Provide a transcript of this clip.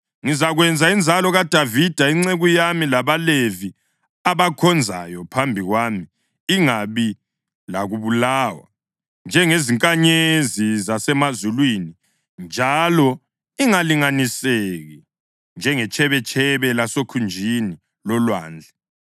Ngizakwenza inzalo kaDavida inceku yami labaLevi abakhonzayo phambi kwami ingabi lakubalwa njengezinkanyezi zasemazulwini njalo ingalinganiseki njengetshebetshebe lasekhunjini lolwandle.’ ”